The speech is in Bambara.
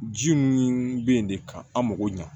Ji nunu be yen de ka an mago ɲa